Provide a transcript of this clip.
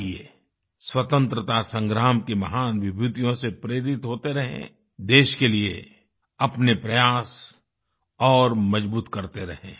आइए स्वतंत्रता संग्राम की महान विभूतियों से प्रेरित होते रहें देश के लिए अपने प्रयास और मजबूत करते रहें